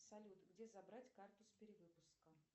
салют где забрать карту с перевыпуска